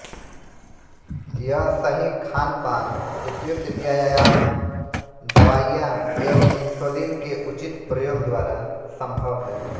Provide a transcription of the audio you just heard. यह सही खानपान उपयुक्त व्यायाम दवाइयाँ एवं इन्सुलीन के उचित प्रयोग द्वारा संभव है